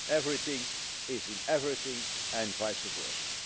Everything is in everything and vice versa.